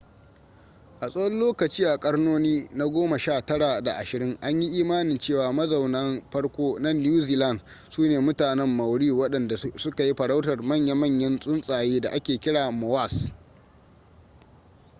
a tsawon lokaci a karnoni na goma sha tara da ashirin an yi imanin cewa mazaunan farko na new zealand su ne mutanen maori waɗanda suka yi farautar manya-manyan tsuntsaye da ake kira moas